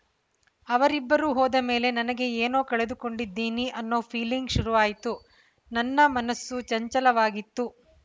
ಅವರಿಬ್ಬರು ಹೋದ ಮೇಲೆ ನನಗೆ ಏನೋ ಕಳೆದುಕೊಂಡಿದ್ದೀನಿ ಅನ್ನೋ ಫೀಲಿಂಗ್‌ ಶುರುವಾಯ್ತು ನನ್ನ ಮನಸ್ಸು ಚಂಚಲವಾಗಿತ್ತು